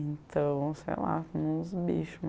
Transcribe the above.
Então, sei lá, fomos bicho